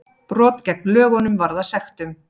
Brot gegn lögunum varða sektum